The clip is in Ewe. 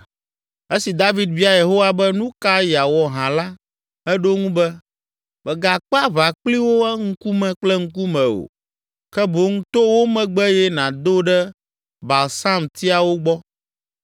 Esi David bia Yehowa be nu ka yeawɔ hã la, eɖo eŋu be, “Mègakpe aʋa kpli wo ŋkume kple ŋkume o, ke boŋ to wo megbe eye nàdo ɖe balsamtiawo gbɔ.